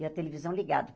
E a televisão ligada.